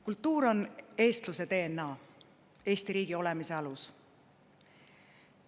Kultuur on eestluse DNA, Eesti riigi olemise alus.